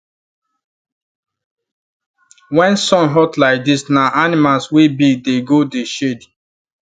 when sun hot like this na animal wey big dey go dey shade